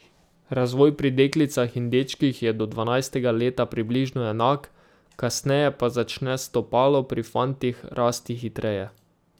Razvoj pri deklicah in dečkih je do dvanajstega leta približno enak, kasneje pa začne stopalo pri fantih rasti hitreje.